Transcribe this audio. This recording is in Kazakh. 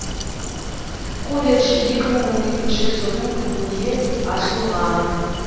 колледж екі мың он екінші жылдың күзінде ашылған